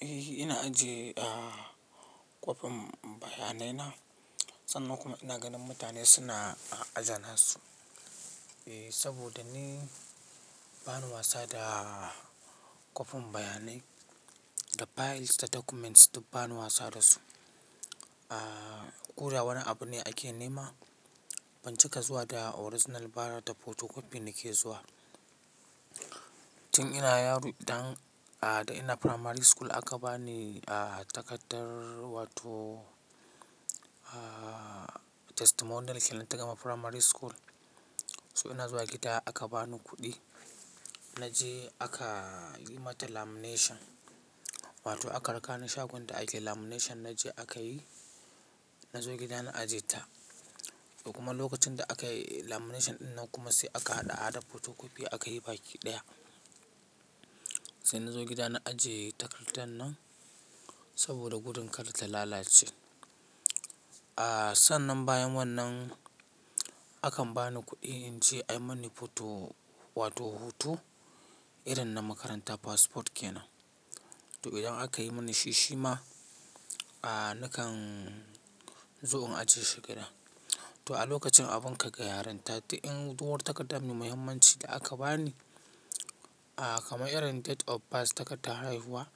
Eh ina ajiye kwafin bayanai na, sannan kuma ina ganin mutane suna aje su. Saboda ni ba ni wasa da kwafin bayanai da files da documents duk ba ni wasa da su. Koda wani abu ne ake nema, ban cika zuwa da original ba da photocopy nake zuwa. Tin ina yaro idan ina primary school aka bani takardar wato testimonial shedar ta gama primary school. So ina zuwa gida aka bani kuɗi, na je aka yi mata lamination wato aka raka ni shagon da ake lamination na je aka yi. Na zo gida na aje ta kuma lokacin da aka yi lamination ɗin nan kuma sai aka haɗa haɗa photocopy aka yi baki ɗaya. Sai na zo gida na ajiye takardar nan saboda gudun kar ta lalace. Sannan bayan wannan, akan bani kuɗi in je ai mani photo wato hutu irin na makaranta passport ke nan. To idan aka yi mani shi shi ma nakan zo in ajiye shi gida. To a lokacin abun ka ga yarenta, to in duk wata takarda mai muhimmanci da aka bani kamar irin date of birth, takardar haihuwa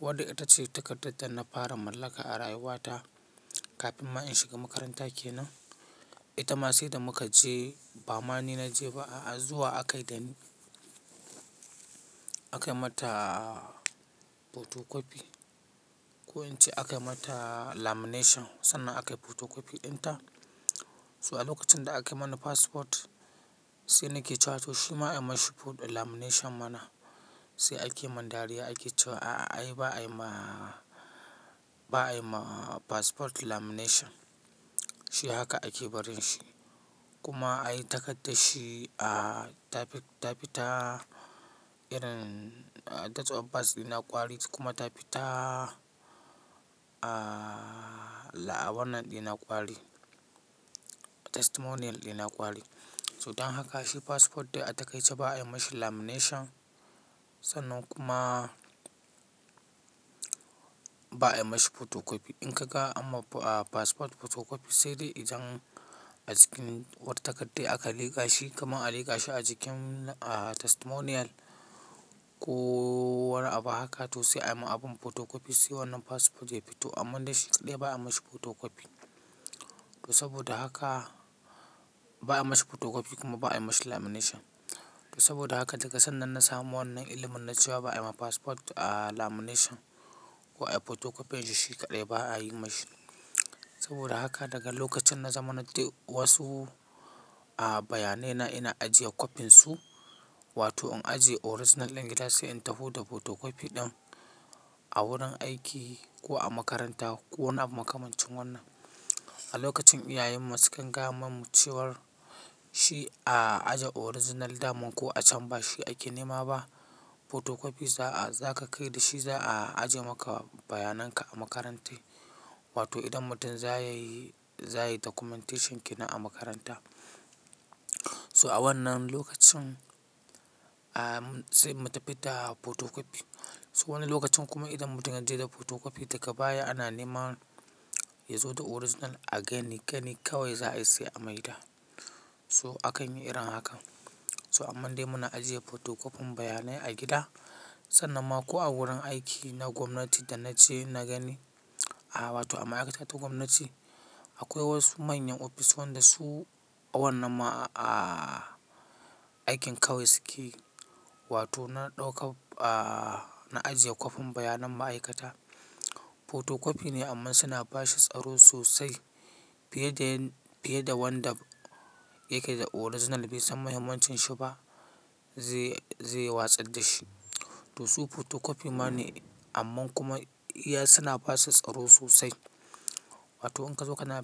wadda ita ce takardar da na fara mallaka a rayuwata kafin ma in shiga makaranta ke nan. Ita ma sai da muka je ba ma ni na je ba, zuwa aka yi da ni aka yi mata photocopy. Ko in ce aka yi mata lamination sannan aka yi photocopy ɗinta. So a lokacin da aka yi mani passport, sai nake cewa to shi ma ai masa photo da lamination mana. Sai ake mun dariya ake cewa ai ba'a yi ma passport lamination, shi haka ake barin shi. Kuma ai takardar shi ta fita irin date of birth yana kwari kuma ta fita la'abaran yana kwari, testimonial dina kwari. To don haka shi passport dai a takai ce ba'a yi mishi lamination sannan kuma ba'a yi mishi photocopy. In ka ga anma passport photocopy sai dai idan a jikin wata takarda aka liƙa shi kamar a liƙa shi a jikin testimonial ko wani abu haka to sai ayi ma abin photocopy. Sai wannan passport ya fito, amman dai shi kaɗai ba'a yi masa photocopy. To saboda haka ba'a yi masa photocopy kuma ba'a yi masa lamination. To saboda haka daga sannan na samu wannan ilimin na ciwa ba'a yi ma passport lamination ko ayi photocopy shi shi kaɗai ba'a yi masa. Saboda haka daga lokacin na zamanan dai wasu bayanai na ina ajiye kwafin su wato in ajiye original ɗin a gida sai in taho da photocopy ɗin a wurin aiki ko a makaranta ko wani abu makamancin wannan. A lokacin iyayen mu su kan gayama mu ciwar shi a aje original daman ko a can ba shi ake nema ba, photocopy za ka kai da shi za a aje maka bayanan ka a makaranta wato idan mutum za ya yi documentation ke nan a makaranta. So a wannan lokacin sai mu tafi da photocopy. So wani lokacin kuma idan mutum ya je da photocopy daga baya ana nema yazo da original again, gani kawai za a yi sai a maida. So akan yi irin hakan. So amman dai muna ajiye photocopy bayanan a gida sannan ma ko a wurin aiki na gwamnati da na je na gani, a wato a ma'aikata ta gwamnati akwai wasu manyan ofis wanda su wannan aikin kawai suke yi, wato na ɗauka na ajiye kwafin bayanan ma'aikata. Photocopy ne amman suna ba shi tsaro sosai fiye da wanda yake da original bai san muhimmancin shi ba zai yi watsar da shi. To su photocopy ma ne amman kuma iya suna ba shi tsaro sosai. Wato in ka zo kana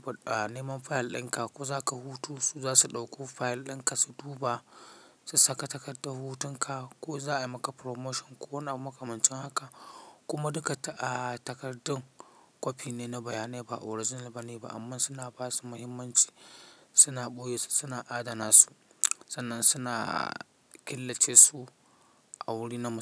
neman file ɗin ka ko za ka hutu su za su ɗauko file ɗin ka su duba, su saka takardar hutun ka ko za a yi maka promotion ko wani abu makamancin haka. Kuma duka takardun copy ne na bayanai ba original ba ne ba amman suna ba su muhimmanci, suna ɓoye su suna adana su. Sannan suna killace su a wurinan.